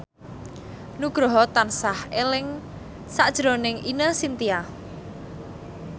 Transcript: Nugroho tansah eling sakjroning Ine Shintya